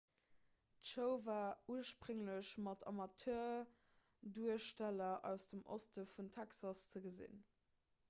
d'show war ursprénglech mat amateurduersteller aus dem oste vun texas ze gesinn